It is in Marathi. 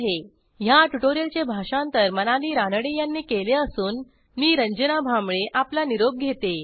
ह्या ट्युटोरियलचे भाषांतर मनाली रानडे यांनी केले असून मी रंजना भांबळे आपला निरोप घेते160